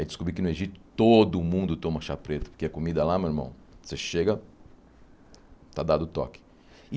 Aí descobri que no Egito todo mundo toma chá preto, porque a comida lá, meu irmão, você chega, está dado o toque.